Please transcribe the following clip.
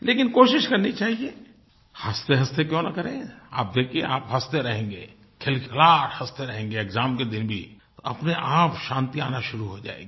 लेकिन कोशिश करनी चाहिये हँसतेहँसते क्यों न करें आप देखिये आप हँसते रहेंगे खिलखिलाहट हँसते रहेंगे एक्साम के दिन भी अपनेआप शांति आना शुरू हो जाएगी